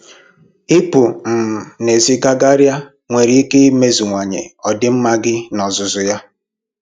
Ịpụ um n'èzí gagharịa nwere ike imeziwanye ọdịmma gị n'ozuzu ya